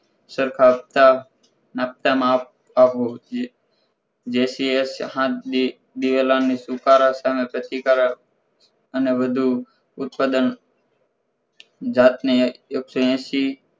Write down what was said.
સરખાવતા નાખતા માં આપવું જે જેથી એ દિવેલા હામે સુકરા સામે પ્રતિકારક અને વધુ ઉત્પાદન જાતને એકસો એસી